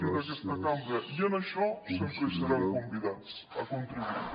i d’aquesta cambra i en això sempre hi seran convidats a contribuir